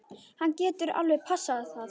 Hann gæti alveg passað það.